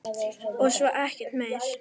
Og svo ekkert meir.